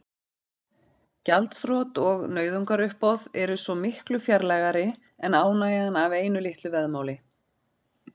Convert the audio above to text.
Gjaldþrot og nauðungaruppboð eru svo miklu fjarlægari en ánægjan af einu litlu veðmáli.